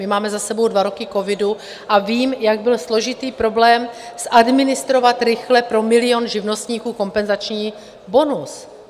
My máme za sebou dva roky covidu a vím, jak byl složitý problém zadministrovat rychle pro milion živnostníků kompenzační bonus.